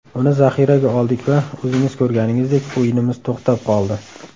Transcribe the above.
Uni zaxiraga oldik va o‘zingiz ko‘rganingizdek, o‘yinimiz to‘xtab qoldi.